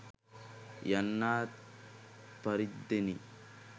යන්නාක් පරිද්දෙනි.